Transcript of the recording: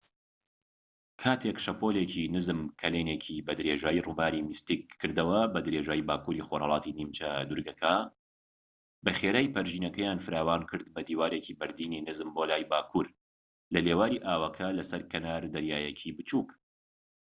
کاتێک شەپۆڵیکی نزم کەلێنێکی بە درێژایی ڕووباری میستیک کردەوە بە درێژایی باکووری خۆرھەڵاتی نیمچە دوورگەکە بەخێرایی پەرژینەکەیان فراوانکرد بە دیوارێکی بەردینی نزم بۆ لای باکوور لە لێواری ئاوەکە لە سەر کەنار دەریایەکی بچووك